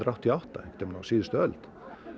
áttatíu og átta einhvern tímann á síðustu öld